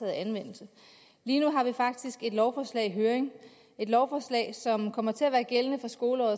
anvendelse lige nu har vi faktisk et lovforslag i høring et lovforslag som kommer til at være gældende fra skoleåret